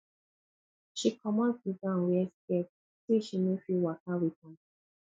she comot di gown wear skirt sey she no fit waka wit am